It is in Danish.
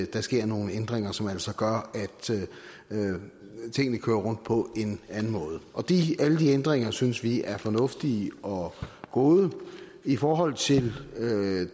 der sker nogle ændringer som altså gør at tingene kører rundt på en anden måde alle de ændringer synes vi er fornuftige og gode i forhold til